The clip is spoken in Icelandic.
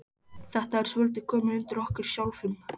Þetta er svolítið komið undir okkur sjálfum.